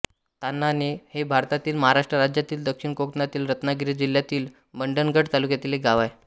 ताम्हाणे हे भारतातील महाराष्ट्र राज्यातील दक्षिण कोकणातील रत्नागिरी जिल्ह्यातील मंडणगड तालुक्यातील एक गाव आहे